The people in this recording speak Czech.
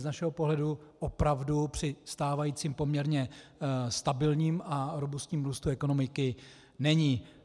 Z našeho pohledu opravdu při stávajícím poměrně stabilním a robustním růstu ekonomiky není.